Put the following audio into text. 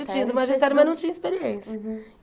Eu tinha do magistério, mas não tinha experiência. Uhum